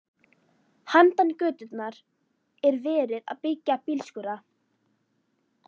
Handan götunnar er verið að byggja bílskúra.